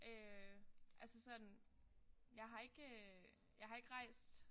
Øh altså sådan jeg har ikke øh jeg har ikke rejst